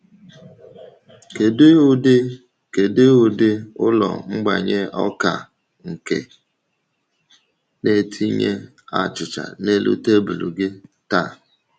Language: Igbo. Kedu ụdị Kedu ụdị ụlọ mgbanye ọka nke na-etinye achịcha n’elu tebụl gị taa?